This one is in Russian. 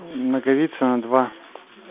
наговицына два